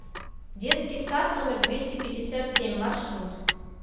детский сад номер двести пятьдесят семь маршрут